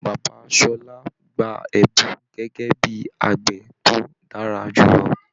Bàbá Ṣọlá gbà ẹbùn gẹgẹ bíi àgbẹ̀ tó dára jùlọ.